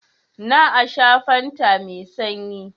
Na a sha fanta mai sanyi.